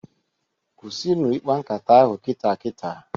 Kwụsịnụ ikpa nkata ahụ kita kita!